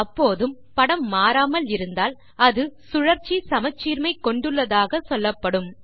அப்போதும் படம் மாறாமல் இருந்தால் அது சுழற்சி சமச்சீர்மை கொண்டுள்ளதாக சொல்லப்படும்